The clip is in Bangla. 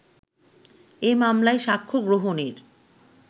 এ মামলায় সাক্ষ্যগ্রহণের